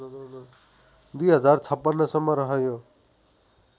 २०५६ सम्म रह्यो